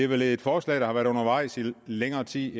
vel et forslag der har været undervejs i længere tid